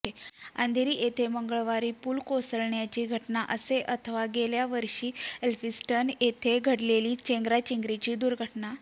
अंधेरी येथील मंगळवारची पूल कोसळण्याची घटना असो अथवा गेल्या वर्षी एल्फिन्स्टन येथे घडलेली चेंगराचेंगरीची दुर्घटना